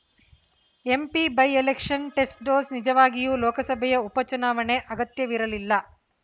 MP by election test dose ನಿಜವಾಗಿಯೂ ಲೋಕಸಭೆಯ ಉಪ ಚುಣಾವಣೆ ಅಗತ್ಯವಿರಲಿಲ್ಲ